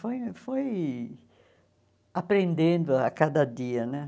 Foi foi aprendendo a cada dia, né?